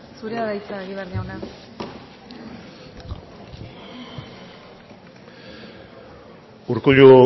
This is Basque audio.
zurea da hitza egibar jauna urkullu